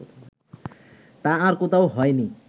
তা আর কোথাও হয় নি